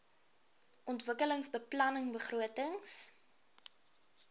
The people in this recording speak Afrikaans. ontwikkelingsbeplanningbegrotings